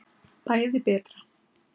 Bæði betra.